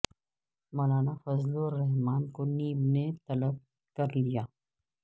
مولانا فضل الرحمان کو نیب نے طلب کر لیا